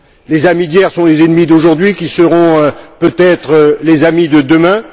Les amis d'hier sont les ennemis d'aujourd'hui qui seront, peut être, les amis de demain.